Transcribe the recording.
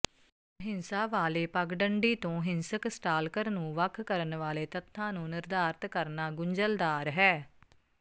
ਅਹਿੰਸਾਵਾਲੇ ਪਗਡੰਡੀ ਤੋਂ ਹਿੰਸਕ ਸਟਾਲਕਰ ਨੂੰ ਵੱਖ ਕਰਨ ਵਾਲੇ ਤੱਥਾਂ ਨੂੰ ਨਿਰਧਾਰਤ ਕਰਨਾ ਗੁੰਝਲਦਾਰ ਹੈ